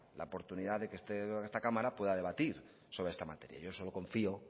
la oportunidad de que esta cámara pueda debatir sobre esta materia yo solo confío